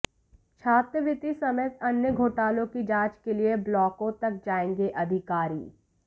छात्रवृत्ति समेत अन्य घोटालों की जांच के लिए ब्लॉकों तक जाएंगे अधिकारी